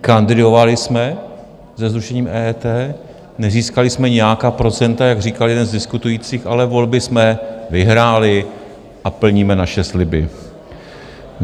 Kandidovali jsme se zrušením EET, nezískali jsme nějaká procenta, jak říkal jeden z diskutujících, ale volby jsme vyhráli a plníme naše sliby.